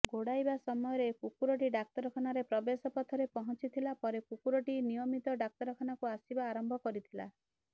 ଗୋଡ଼ାଇବା ସମୟରେ କୁକୁରଟି ଡାକ୍ତରଖାନାର ପ୍ରବେଶ ପଥରେ ପହଞ୍ଚିଥିଲା ପରେ କୁକୁରଟି ନିୟମିତ ଡାକ୍ତରଖାନାକୁ ଆସିବା ଆରମ୍ଭ କରିଥିଲା